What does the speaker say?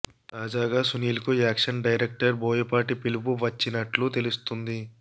తాజాగా సునీల్ కు action director Boyapati పిలుపు వచ్చినట్లు తెలుస్తుంది